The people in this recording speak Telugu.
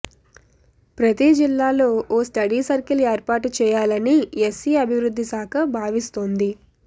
ప్రతి జిల్లాలో ఓ స్టడీ సర్కిల్ ఏర్పాటు చేయాలని ఎస్సీ అభివృద్ధి శాఖ భావిస్తోంది